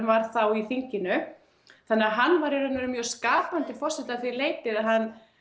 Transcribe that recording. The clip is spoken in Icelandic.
var þá í þinginu þannig að hann var í raun og veru mjög skapandi forseti að því leyti að hann